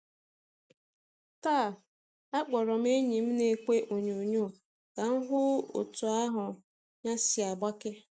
Taa, akpọrọ enyi m n'ekwe onyoonyo ka m hụ otú ahụ́ ya si agbake.